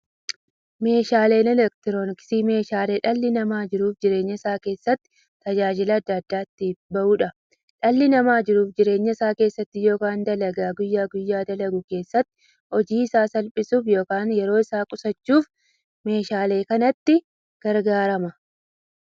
Meeshaaleen elektirooniksii meeshaalee dhalli namaa jiruuf jireenya isaa keessatti, tajaajila adda addaa itti bahuudha. Dhalli namaa jiruuf jireenya isaa keessatti yookiin dalagaa guyyaa guyyaan dalagu keessatti, hojii isaa salphissuuf yookiin yeroo isaa qusachuuf meeshaalee kanatti gargaarama.